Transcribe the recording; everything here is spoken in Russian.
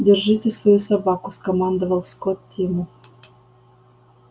держите свою собаку скомандовал скотт тиму